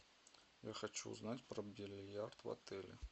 я хочу узнать про бильярд в отеле